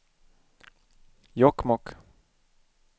Jokkmokk